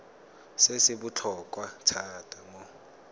se se botlhokwa thata mo